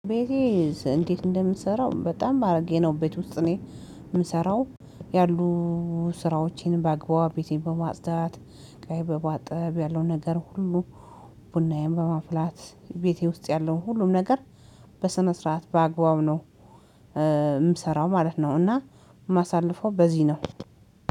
ቤቴ እንዴት እንደምሰራው? በጣም አርጌ ነው ቤት ውስጥ ነው የምሰራው። ያሉ ስራዎቼንም በአግባቡ ቤቴን በማጽዳት፣ እቃዬ በማጠብ ያለውን ነገር ሁሉ ቡናዬን በማፍላት፣ ቤቴ ውስጥ ያለውን ሁሉም ነገር በስነ ስርዓት በአግባቡ ነው የምሰራው ማለት ነው፤ እና ማሳለፍ በዚህ ነው።